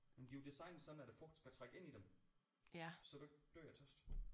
Men de er jo designet sådan at fugten skal trænge ind i dem så du ikke dør af tørst